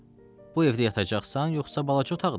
Bu evdə yatacaqsan, yoxsa balaca otaqda?